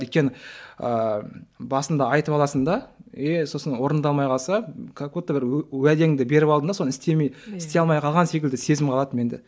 өйткені ыыы басында айтып аласың да еее сосын орындалмай қалса как будто бір уәдеңді беріп алдың да соны істемей істей алмай қалған секілді сезім қалады менде